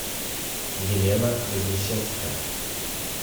елена вознесенская